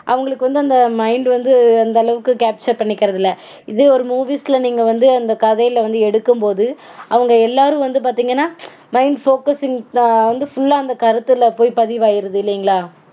அவங்களுக்கு வந்து அந்த mind வந்து அந்த அளவுக்கு capture பண்ணிக்கறதில்ல. இதே ஒரு movies -ல நீங்க வந்து அந்த கதைல வந்து எடுக்கும்போது அவங்க எல்லாரும் வந்து பாத்தீங்கனா mind focusing full -ஆ அந்த கருத்துல போய் பதிவாயிடுது இல்லைங்களா